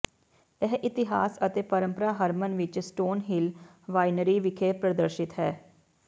ਇਹ ਇਤਿਹਾਸ ਅਤੇ ਪਰੰਪਰਾ ਹਰਮਨ ਵਿੱਚ ਸਟੋਨ ਹਿਲ ਵਾਈਨਰੀ ਵਿਖੇ ਪ੍ਰਦਰਸ਼ਿਤ ਹੈ